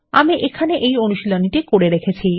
আমি এখানে এই অনুশীলনী টি করে রেখেছি